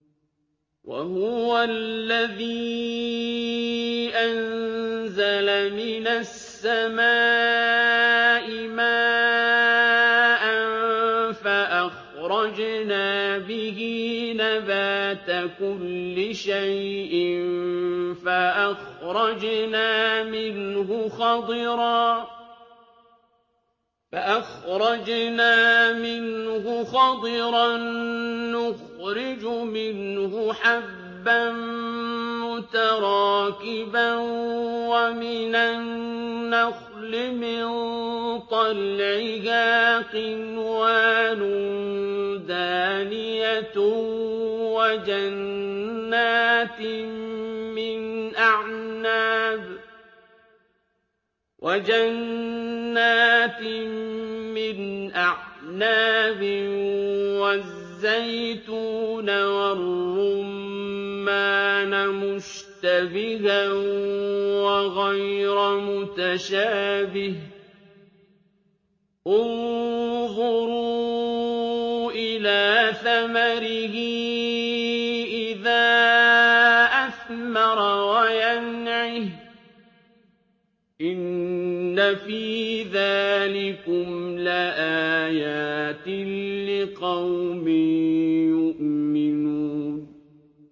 وَهُوَ الَّذِي أَنزَلَ مِنَ السَّمَاءِ مَاءً فَأَخْرَجْنَا بِهِ نَبَاتَ كُلِّ شَيْءٍ فَأَخْرَجْنَا مِنْهُ خَضِرًا نُّخْرِجُ مِنْهُ حَبًّا مُّتَرَاكِبًا وَمِنَ النَّخْلِ مِن طَلْعِهَا قِنْوَانٌ دَانِيَةٌ وَجَنَّاتٍ مِّنْ أَعْنَابٍ وَالزَّيْتُونَ وَالرُّمَّانَ مُشْتَبِهًا وَغَيْرَ مُتَشَابِهٍ ۗ انظُرُوا إِلَىٰ ثَمَرِهِ إِذَا أَثْمَرَ وَيَنْعِهِ ۚ إِنَّ فِي ذَٰلِكُمْ لَآيَاتٍ لِّقَوْمٍ يُؤْمِنُونَ